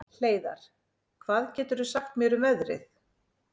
Hleiðar, hvað geturðu sagt mér um veðrið?